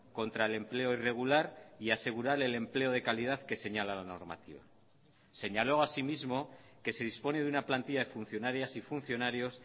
contra el empleo irregular y asegurar el empleo de calidad que señala la normativa señaló así mismo que se dispone de una plantilla de funcionarias y funcionarios